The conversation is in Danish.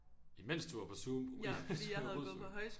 Imens du var på Zoom rusuge